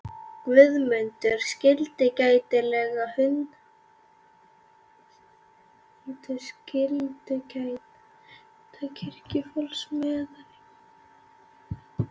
Guðmundur skyldu gæta hunda kirkjufólks meðan á messugjörð stæði.